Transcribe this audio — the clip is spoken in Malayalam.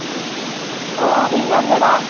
ഓ. റീന അല്ലേടാ.